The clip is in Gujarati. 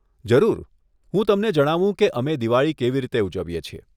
જરૂર, હું તમને જણાવું કે અમે દિવાળી કેવી રીતે ઉજવીએ છીએ.